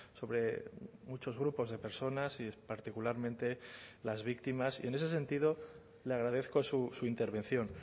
sobre muchos grupos de personas y particularmente las víctimas y en ese sentido le agradezco su intervención